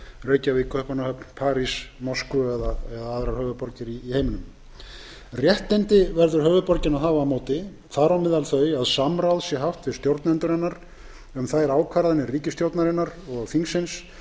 landsmenn réttindi verður höfuðborgin að hafa á móti þar á meðal þau að samráð sé haft við stjórnendur hennar um þær ákvarðanir ríkisstjórnarinnar og þings